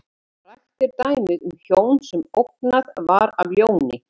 Frægt er dæmið um hjón sem ógnað var af ljóni.